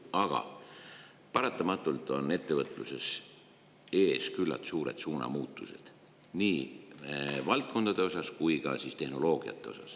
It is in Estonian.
Aga paratamatult on ettevõtluses ees küllalt suured suunamuutused nii valdkondades kui ka tehnoloogiates.